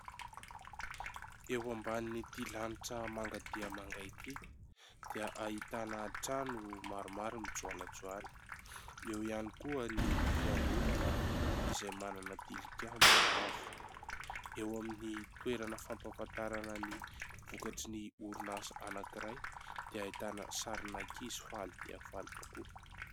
Eo ambanin'ity lanitra manga dia manga ity dia ahitana trano maromaro mijoalajoala, eo ihany koa ny fiangonana izay manana tilikambo avo. Eo amin'ny toerana fampafantarana ny vokatry ny orinasa anankiray dia ahitana sarin'ankizy faly dia faly tokoa.